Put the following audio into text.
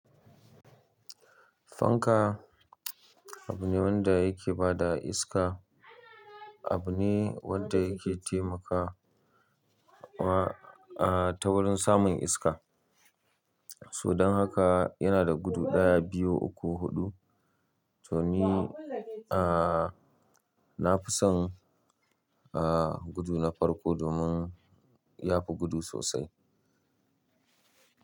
Fanka abu ne wanda yake ba da iska. Abu ne wanda yake taimaka wa, ah ta wurin samun iska. To dan haka yana da gudu ɗaya, biyu, uku, huɗu. To ni, ah, na fi son, ah, gudu na farko domin ya fi gudu sosai.